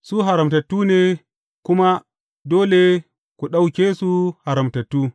Su haramtattu ne kuma dole ku ɗauke su haramtattu.